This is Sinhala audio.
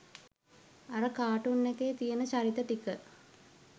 අර කාටූන් එකේ තියෙන චරිත ටික